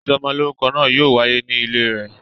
Ìsọmọ lórúkọ náà yóò wáyé ní ilé rẹ̀